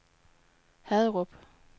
Haderup